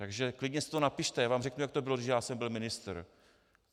Takže klidně si to napište, já vám řeknu, jak to bylo, když já jsem byl ministr.